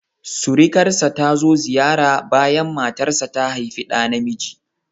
Surukarsa ta zo ziyara bayan matarsa ta haifi ɗa namiji